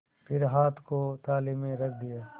फिर हाथ को थाली में रख दिया